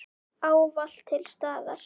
Ávallt til staðar.